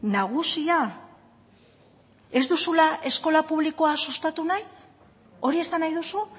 nagusia ez duzula eskola publikoa sustatu nahi hori esan nahi duzu